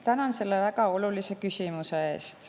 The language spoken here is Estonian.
Tänan selle väga olulise küsimuse eest.